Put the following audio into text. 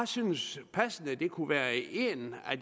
synes det passende kunne være en af